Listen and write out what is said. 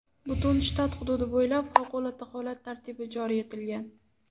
Butun shtat hududi bo‘ylab favqulodda holat tartibi joriy etilgan.